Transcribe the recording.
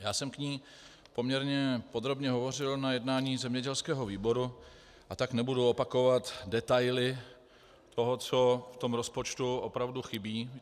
Já jsem k ní poměrně podrobně hovořil na jednání zemědělského výboru, a tak nebudu opakovat detaily toho, co v tom rozpočtu opravdu chybí.